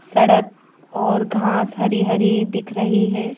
सड़क और घास हरी हरी दिख रही है।